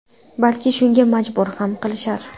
Balki, shunga majbur ham qilishar.